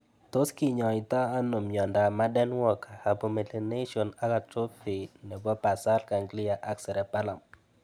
Tos kinyaitoi ano miondop Marden Walker hypomelination ak atrophy nepo basal ganglia ak cerebellum (H ABC) ?